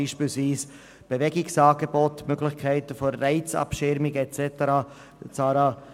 Dazu gehören beispielsweise Bewegungsangebote, die Möglichkeit der Reizabschirmung und so weiter.